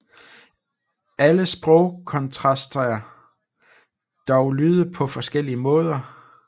Alle sprog kontrasterer dog lyde på forskellige måder